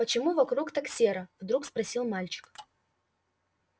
почему вокруг так серо вдруг спросил мальчик